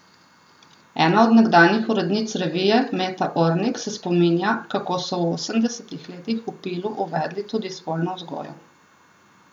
Ena od nekdanjih urednic revije Meta Ornik se spominja, kako so v osemdesetih letih v Pilu uvedli tudi spolno vzgojo.